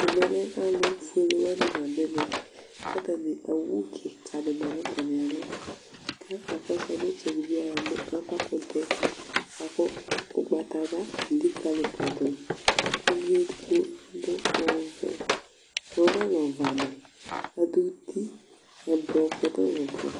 ɛmɛ lɛ alu fuele wʋani la du ɛmɛ , ku ata ni owu kika di ma nu ata mi'alɔ , ka kɔsu ɛtsɛdi bi me ava kutɛ bʋa ku ugbata wla lelikali ma du, k'uvi edigbo adu vɛ bʋa ɔna lɛ ɔvɛ amɛ, adu itu ɛblɔɔ